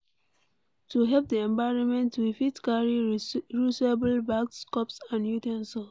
To help di environment we fit carry reusable bags, cups and u ten sils